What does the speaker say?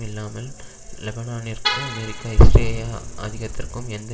இல்லாமல் லெபனானிற்கு அமெரிக்க இஸ்ரேயா ஆதிக்கத்திற்கு எந்த